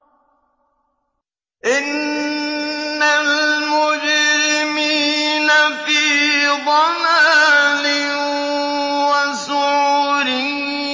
إِنَّ الْمُجْرِمِينَ فِي ضَلَالٍ وَسُعُرٍ